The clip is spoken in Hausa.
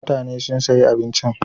Mutane sun sayi abincin.